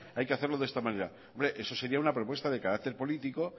hay que hacerlo de esta manera hombre eso sería una propuesta de carácter político